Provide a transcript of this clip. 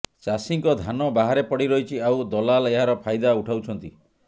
ଚାଷୀଙ୍କ ଧାନ ବାହାରେ ପଡି ରହିଛି ଆଉ ଦଲାଲ ଏହାର ଫାଇଦା ଉଠାଉଛନ୍ତି